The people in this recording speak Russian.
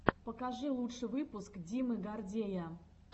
покажи лучший выпуск димы гордея